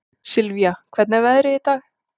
Sylvia, hvernig er veðrið í dag?